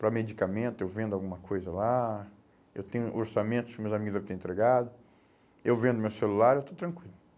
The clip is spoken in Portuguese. Para medicamento, eu vendo alguma coisa lá, eu tenho orçamentos que meus amigos devem ter entregado, eu vendo meu celular, eu estou tranquilo.